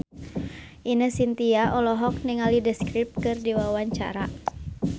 Ine Shintya olohok ningali The Script keur diwawancara